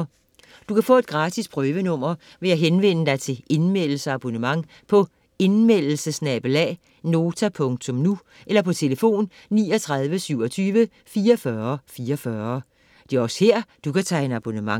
Du kan få et gratis prøvenummer ved at henvende dig til Indmeldelse- og abonnement på indmeldelse@nota.nu eller tlf. 39 27 44 44. Det er også hér, du kan tegne abonnement.